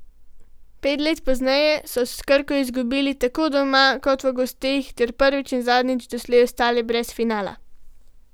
Pet let pozneje so s Krko izgubili tako doma kot v gosteh ter prvič in zadnjič doslej ostali brez finala.